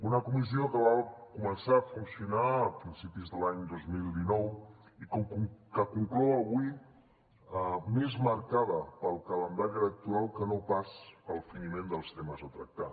una comissió que va començar a funcionar a principis de l’any dos mil dinou i que conclou avui més marcada pel calendari electoral que no pas pel finiment dels temes a tractar